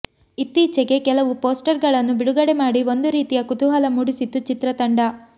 ಇತ್ತೀಚೆಗೆ ಕೆಲವು ಪೋಸ್ಟರ್ ಗಳನ್ನು ಬಿಡುಗಡೆ ಮಾಡಿ ಒಂದು ರೀತಿಯ ಕುತೂಹಲ ಮೂಡಿಸಿತ್ತು ಚಿತ್ರತಂಡ